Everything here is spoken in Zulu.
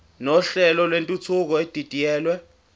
nohlelo lwentuthuko edidiyelwe